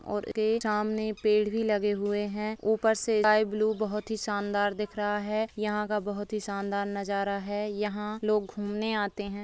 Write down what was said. और उसके सामने पेड़ भी लगे हुए हैं ऊपर से स्काई ब्लू बहोत ही शानदार दिख रहा है। यहाँ का बहोत ही शानदार नजारा है। यहाँ लोग घूमने आते हैं।